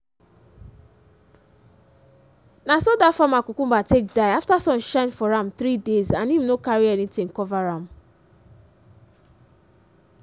na so that farmer cucumber take die after sun shine for am 3 days and him no carry anything cover am.